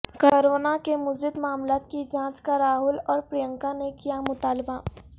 corona کے مزید معاملات کی جانچ کا راہول اور پرینکا نے کیامطالبہ